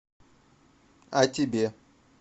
а тебе